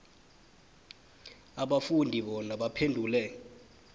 abafundi bona baphendule